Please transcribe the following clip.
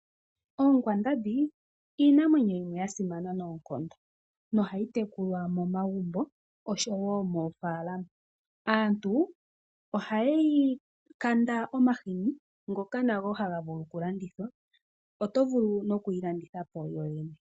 Oonkwandambi iinamwenyo yimwe ya simana noonkondo. Nohayi tekulwa momagumbo osho woo moofaalama . Aantu ohaye yi kanda omahini ngoka nago haga vulu oku landithwa oto vulu nokuyi landitha po yoyene.